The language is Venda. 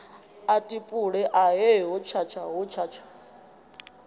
a tupule ahe hotshatsha hotshatsha